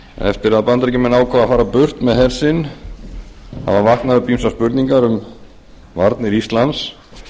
eftir að bandaríkjamenn ákváðu að fara burt með her sinn hafa vaknað upp ýmsar spurningar um varnir íslands